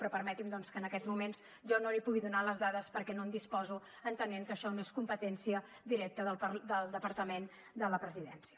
però permeti’m doncs que en aquests moments jo no li pugui donar les dades perquè no en disposo entenent que això no és competència directa del departament de la presidència